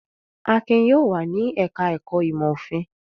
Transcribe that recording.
Akin yóò wà ní ẹ̀ka-ẹ̀kọ́ ìmọ̀-òfin!